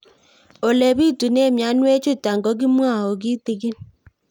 Ole pitune mionwek chutok ko kimwau kitig'ín